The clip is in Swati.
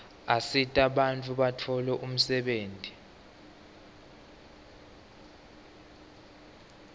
asita bantfu batfole umsebenti